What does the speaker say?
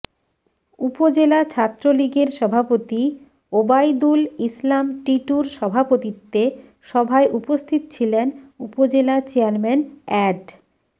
উপজেলা ছাত্রলীগের সভাপতি ওবায়দুল ইসলাম টিটুর সভাপতিত্বে সভায় উপস্থিত ছিলেন উপজেলা চেয়ারম্যান অ্যাড